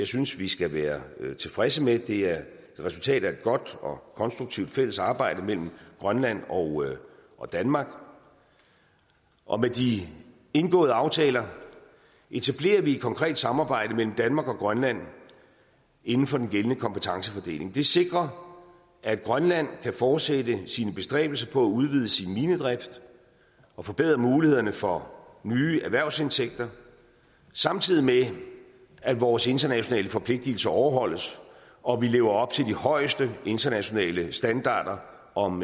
synes vi skal være tilfredse med det er et resultat af et godt og konstruktivt fælles arbejde mellem grønland og og danmark og med de indgåede aftaler etablerer vi et konkret samarbejde mellem danmark og grønland inden for den gældende kompetencefordeling det sikrer at grønland kan fortsætte sine bestræbelser på at udvide sin minedrift og forbedre mulighederne for nye erhvervsindtægter samtidig med at vores internationale forpligtelser overholdes og vi lever op til de højeste internationale standarder om